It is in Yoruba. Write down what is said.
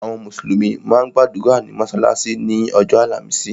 Àwọn mùsùlùmí máa ń gbàdúrà ní mọ́sálásí ni ọjọ́ àlàmísì.